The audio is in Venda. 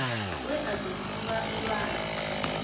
we a do kundwa nndwani